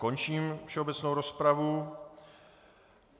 Končím všeobecnou rozpravu.